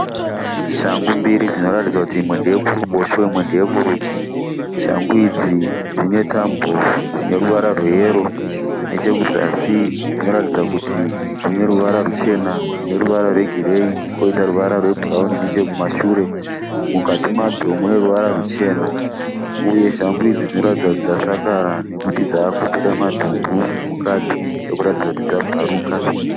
Shangu mbiri dzinoratidza kuti imwe ndeye kuruboshwe imwe ndeye kurudyi. Shangu idzi dzine tambo dzine ruvara rweyero. Nechekuzasi dzinoratidza kuti dzine ruvara ruchena neruvara rwegireyi koita ruvara rwebhurawuni nechekumashure. Mukati madzo mune ruvara ruchena. Uye shangu idzi dzinoratidza kuti dzasakara nekuti dzakubuda madhumbu mukati ekuratidza kuti dzabvaruka.